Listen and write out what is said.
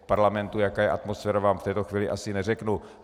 V parlamentu, jaká je atmosféra, vám v této chvíli asi neřeknu.